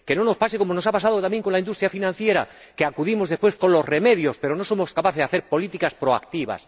Que no nos pase como nos ha pasado también con la industria financiera, que acudimos después con los remedios, pero no somos capaces de hacer políticas proactivas.